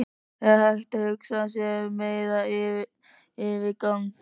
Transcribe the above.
Er hægt að hugsa sér meiri yfirgang?